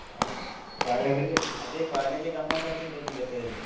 ಹಾ ಅದೇ college ಏ ಗಮ್ಮತಾಗ್ತಿತ್ತು ಒಂದ್ಲೆಕ್ಕದಲ್ಲಿ.